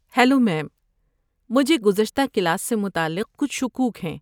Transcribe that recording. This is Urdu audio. ہیلو میم، مجھے گزشتہ کلاس سے متعلق کچھ شکوک ہیں۔